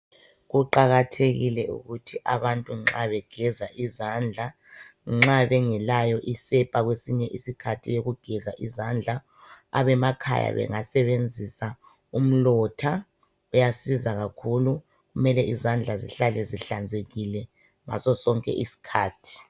Kuqakathekile ukuthi abantu nxa begeza izandla nxa bengelayo isepa kwesinye isikhathi eyokugeza izandla abasemakhaya bengasebenzisa umlotha uyasiza kakhulu kubalulekile ukuthi izandla zihlale zihlanzekile ngaso sonke isikhathi